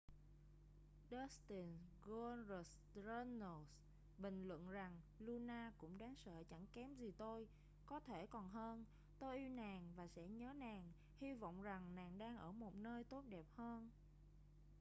dustin goldust runnels bình luận rằng luna cũng đáng sợ chẳng kém gì tôi...có thể còn hơn...tôi yêu nàng và sẽ nhớ nàng...hy vọng rằng nàng đang ở một nơi tốt đẹp hơn.